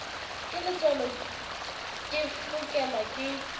ke letswalo ke fokelwa ke